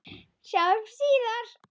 Sjáumst síðar.